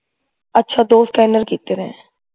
ਅੱਛਾ ਦੋ scanner ਕੀਤੇ ਨੇ